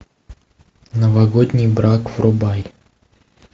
новогодний брак врубай